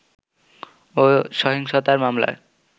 ও সহিংসতার মামলায়